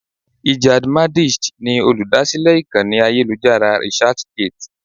Ijad Madisch ni olúdásílè ìkànnì ayélujára Researchgate.